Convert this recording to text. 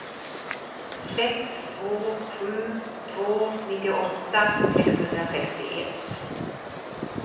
sex två sju två nittioåtta sexhundrasextioett